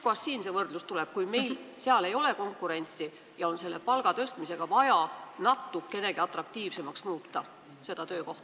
Kust siin see võrdlus tuleb, kui seal ei ole konkurentsi ja palga tõstmisega on vaja natukenegi seda töökohta atraktiivsemaks muuta?